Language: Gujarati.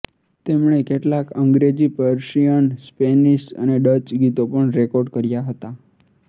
તેમણે કેટલાક અંગ્રેજી પર્શિયન સ્પેનિશ અને ડચ ગીતો પણ રેકોર્ડ કર્યા હતા